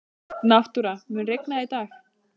Náttúra, mun rigna í dag?